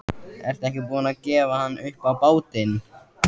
Ertu ekki búin að gefa hann upp á bátinn?